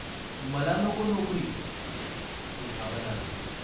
"मला नको नोकरी !" एक आवाज आला.